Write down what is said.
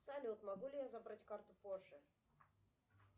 салют могу ли я забрать карту позже